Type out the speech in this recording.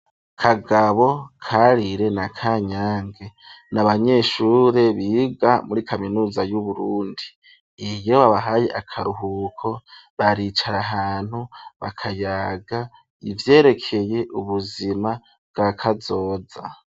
Kagabo, Karire na kanyange n'abanyeshuri biga muri kaminuza yu Burundi iyo babahaye akaruhuko baricara ahantu bakayaga ivyerekeye ubuzima bwakazoza.